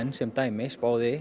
sem dæmi